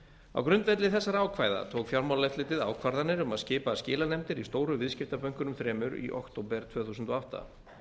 á grundvelli þessara ákvæða tók fjármálaeftirlitið ákvarðanir um að skipa skilanefndir í stóru viðskiptabönkunum þremur í október tvö þúsund og átta